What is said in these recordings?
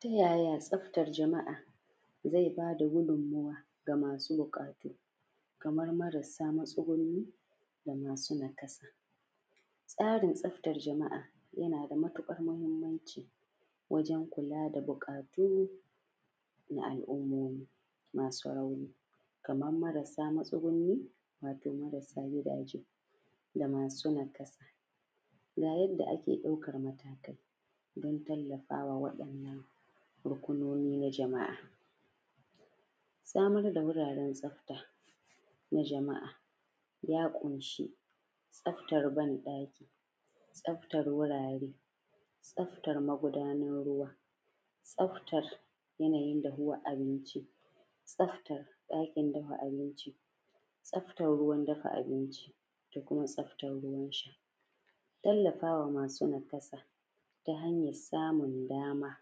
ta yaya tsafta jama’a zai bada gudimmawa ga masu buƙata kamar marasa matsuguni masu nakasa tsarin tsafatar jama’a yana da matuƙar muhimmanci wajen kula da buƙatu na al’umma masu rauni kamar marasa matsuguni da kuma marsa gidaje da masu nakasa ga yadda ake ɗaukar matakai don tallafawa waɗannan rukunnoni na jama’a samar da wuraren tsafta na jama’a ya ƙunshi tsaftar banɗaki tsaftar banɗaki tsaftar wurare tsaftar magudanan ruwa tsaftar yana yin dahuwar abinci tsaftar ɗakin dafa abinci tsaftar ruwan dafa abinci da kuma tsaftar ruwan sha tallafawa masu nakasa suna samun damar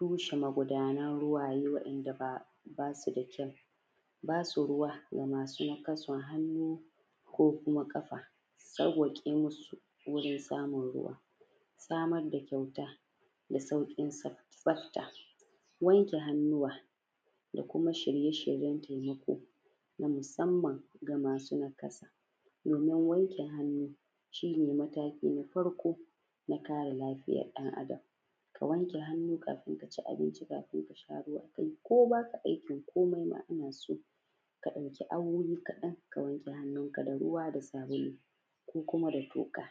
rushe magudanen ruwa ye waɗanda ba su da kyau ba su ruwa ga masu nakasan hannu ko kuma kafa sauwake musu wurin samun ruwa samar da kyauta da saukinsa tsafta wanke hannuwa da kuma shirye-shiryen taimako na musamman ga masu nakasa domin wanke hannu shine matakin na farko na kare lafiyar ɗan Adam ka wanke hannu kafin ka ci abinci ka sha ruwa ko ba ka aikin komai ana so ka ɗauki awayi kaɗan ka wanke hannunka da ruwa da sabulu ko kuma da toka